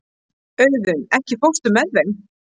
Auðunn, ekki fórstu með þeim?